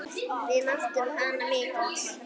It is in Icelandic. Við mátum hana mikils.